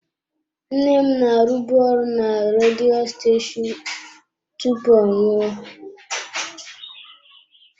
Nne m na-arụbu ọrụ na redio steshoonu tupu ọ nwụọ.